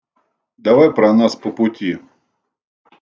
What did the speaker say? давай про нас по пути